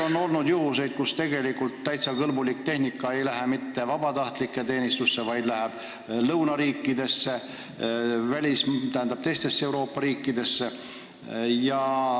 On olnud juhtumeid, kus tegelikult täiesti kõlblik tehnika ei lähe mitte vabatahtlike teenistusse, vaid lõunariikidesse, teistesse Euroopa riikidesse.